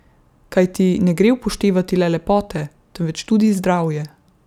Kajti ne gre upoštevati le lepote, temveč tudi zdravje.